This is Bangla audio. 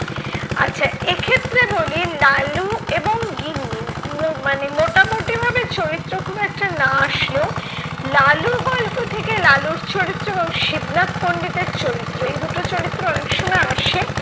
আচ্ছা এক্ষেত্রে বলি লালু এবং গিন্নি, মু মানে মোটামুটিভাবে চরিত্র খুব একটা না আসলেও, লালু গল্প থেকে লালুর চরিত্র এবং শিবনাথ পন্ডিতের চরিত্র এই দুটো চরিত্র অনেক সময় আসে।